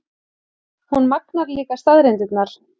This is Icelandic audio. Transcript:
Hún magnar líka staðreyndirnar.